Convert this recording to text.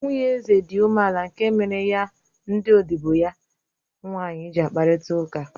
Nwunye eze dị umeala nke mere ya ndị odibo ya nwanyị ji n'akparịta ụka